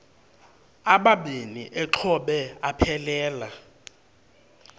amabini exhobe aphelela